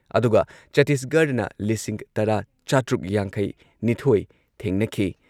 ꯑꯗꯨꯒ ꯆꯠꯇꯤꯁꯒꯔꯗꯅ ꯂꯤꯁꯤꯡ ꯇꯔꯥ ꯆꯥꯇ꯭ꯔꯨꯛ ꯌꯥꯡꯈꯩꯅꯤꯊꯣꯏ ꯊꯦꯡꯅꯈꯤ